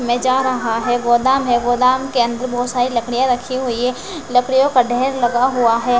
में जा रहा है गोदाम है गोदाम के अंदर बहुत सारी लकड़ियां रखी हुई हैं लकड़ियों का ढेर लगा हुआ है।